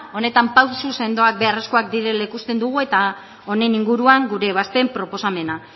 honetan pausu sendoak beharrezkoak direla ikusten dugu eta honen inguruan gure ebazpen proposamena